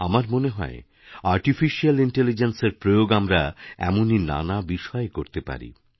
আমার মনে হয়আর্টিফিশিয়াল ইন্টেলিজেন্সের প্রয়োগ আমরা এমনই নানা বিষয়ে করতে পারি